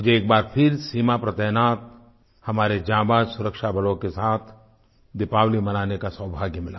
मुझे एक बार फिर सीमा पर तैनात हमारे जाबांज़ सुरक्षाबलों के साथ दीपावली मनाने का सौभाग्य मिला